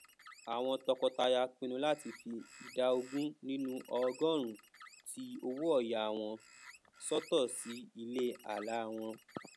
mo mo ní kíṣítì ìjẹ́jẹ́ tí wọ́n yọ kúrò nínú ẹ̀yà ẹ̀fun mi ní ọ̀sẹ̀ méje sẹ́yìn